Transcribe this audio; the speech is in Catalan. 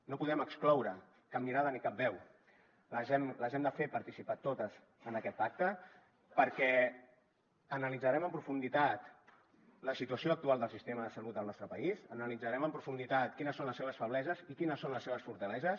no podem excloure cap mirada ni cap veu les hem de fer participar totes en aquest pacte perquè analitzarem en profunditat la situació actual del sistema de salut del nostre país analitzarem en profunditat quines són les seves febleses i quines són les seves fortaleses